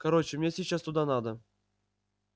короче мне сейчас туда надо